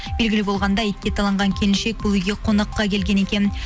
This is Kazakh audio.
белгілі болғандай итке таланған келіншек бұл үйге қонаққа келген екен